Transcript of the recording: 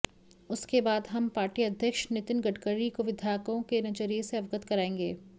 उसके बाद हम पार्टी अध्यक्ष नितिन गडकरी को विधायकों के नजरिए से अवगत कराएंगे